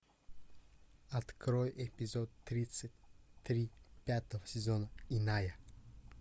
открой эпизод тридцать три пятого сезона иная